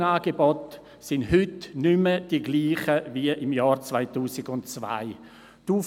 Die Brückenangebote sind heute nicht gleich wie im Jahr 2002.